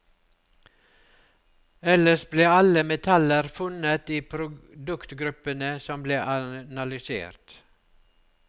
Ellers ble alle metaller funnet i produktgruppene som ble analysert.